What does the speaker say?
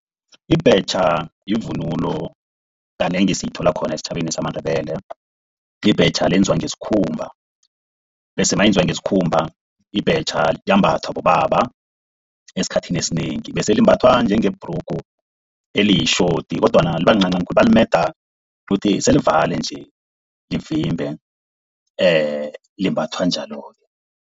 Ibhetjha yivunulo kanengi esiyithola khona esitjhabeni samaNdebele. Ibhetjha lenziwa ngesikhumba, bese nalenziwa ngesikhumba ibhetjha liyambathwa bobaba esikhathini esinengi. Bese limbathwa njenge bhrugu eliyitjhoti kodwana libalincancani khulu. Balimeda ukuthi selivale nje livimbe, limbathwa njalo-ke.